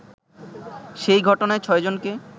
সেই ঘটনায় ছয়জনকে